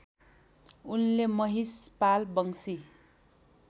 उनले महिषपाल वंशी